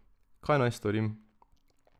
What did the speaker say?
Kaj naj storim?